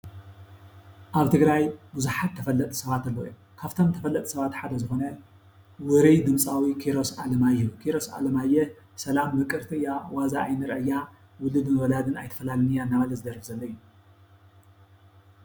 ኣብ ትግራይ ቡዙሓት ተፈለጥቲ ሰባት ኣለው እዮም፡፡ ካብቶም ተፈለጥቲ ሰባት ሓደ ዝኾነ ውሩይ ድምፃዊ ኪሮስ ኣለማዮህ፡፡ ኪሮስ ኣለማዮህ "ሰላም ምቅርቲ እያ ዋዛ ኣይንርአያ ውሉድን ወላድን ኣይትፈላልን እያ" እናበለ ዝደርፍ ዘሎ እዩ፡፡